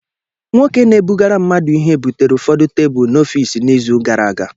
Nwoke na-ebugara mmadu Ihe butere ụfọdụ tebụl n'ọfịs n'izu gara aga